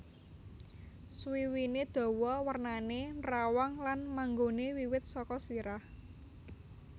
Suwiwiné dawa wernané nrawang lan manggoné wiwit saka sirah